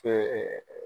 Ɛɛ